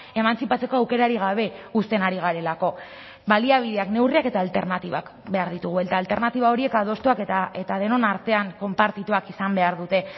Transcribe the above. emantzipatzeko aukerarik gabe uzten ari garelako baliabideak neurriak eta alternatibak behar ditugu eta alternatiba horiek adostuak eta denon artean konpartituak izan behar dute